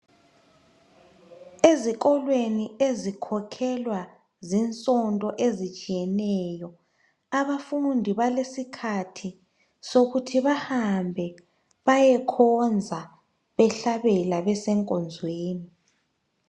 Ezikolweni ezikhokhelwa zisonto ezitshiyeneyo, abafundi balesikhathi sokuthi bahambe bayekhonza behlabela besenkonzweni.